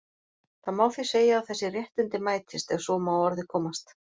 Það má því segja að þessi réttindi mætist, ef svo má að orði komast.